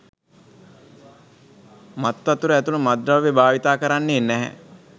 මත්වතුර ඇතුළු මත්ද්‍රව්‍ය භාවිතා කරන්නේ නැහැ.